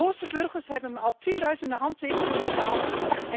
Boze burgers hebben me al tienduizenden handtekeningen overhandigd.